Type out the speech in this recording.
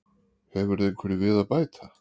Hefurðu einhverju við að bæta?